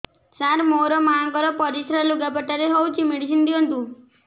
ସାର ମୋର ମାଆଙ୍କର ପରିସ୍ରା ଲୁଗାପଟା ରେ ହଉଚି ମେଡିସିନ ଦିଅନ୍ତୁ